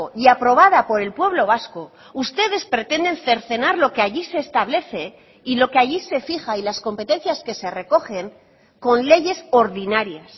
y aprobada por el pueblo vasco ustedes pretenden cercenar lo que allí se establece y lo que allí se fija y las competencias que se recogen con leyes ordinarias